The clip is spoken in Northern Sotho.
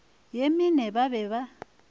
ye mene ba be ba